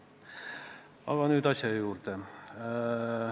Aga nüüd asja juurde.